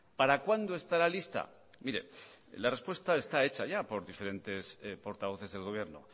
para cuándo estará lista mire la respuesta está hecha por diferentes portavoces del gobierno